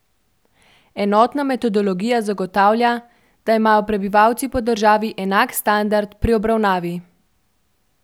Enotna metodologija zagotavlja, da imajo prebivalci po državi enak standard pri obravnavi.